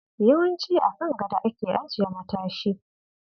Yawanci a kan gado ake ajiye matashi.